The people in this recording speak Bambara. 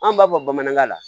An b'a fɔ bamanankan na